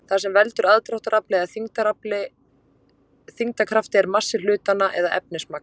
Það sem veldur aðdráttarafli eða þyngdarkrafti er massi hlutanna eða efnismagn.